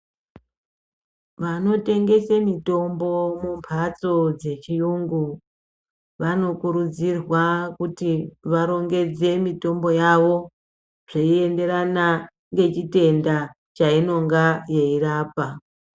Vano tengese mutombo mu mbatso dze chiyungu vano kurudzirwa kuti varongedze mitombo yavo zvei enderana nge chitenda cha inonga yei rapa.